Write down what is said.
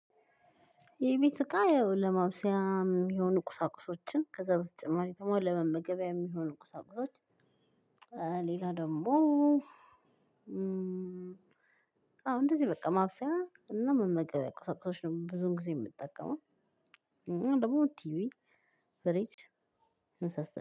የቤት እቃ ያው ለማብሰያ የሚሆኑ ቁሳቁሶችን ከዛ በተጨማሪ ደግሞ ለመመገቢያ የሚሆኑ ቁሳቁሶች ሌላ ደግሞ አሁን እንደዚህ በቃ ማብሰያ እና መመገቢያ ቁሳቁሶች ነው ብዙ ጊዜ የምጠቀመው። እና ደግሞ ቲቪ ፍሪጅ የመሳሰሉት